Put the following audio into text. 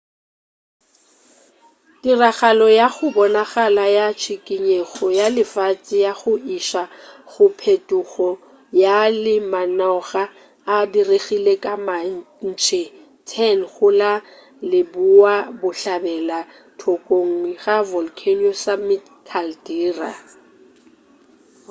tiragalo ya go bonagala ya tšhikinyego ya lefase ya go iša go phetogo ya lemanoga e diregile ka matšhe 10 go la leboabohlabela thokong ga volcano's summit caldera